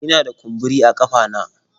Ina da kumburi a kafa na